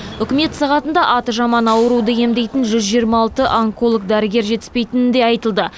үкімет сағатында аты жаман ауруды емдейтін жүз жиырма алты онколог дәрігер жетіспейтіні де айтылды